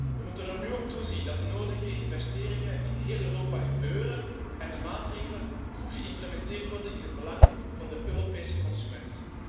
We moeten er nu op toezien dat de nodige investeringen in heel Europa gebeuren en de maatregelen goed geïmplementeerd worden in het belang van de Europese consument.